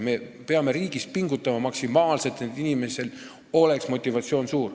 Me peame riigis maksimaalselt pingutama, et inimesel oleks suur motivatsioon.